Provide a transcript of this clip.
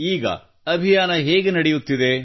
ಈಗ ನಿಮ್ಮ ಅಭಿಯಾನ ಹೇಗೆ ನಡೆಯುತ್ತಿದೆ